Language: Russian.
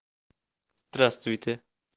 здравствуйте